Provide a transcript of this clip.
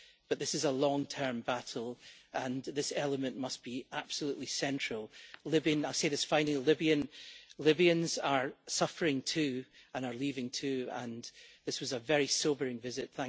But this is a long term battle and this element must be absolutely central. I will say this finally Libyans are suffering too and are leaving too, and this was a very sobering visit.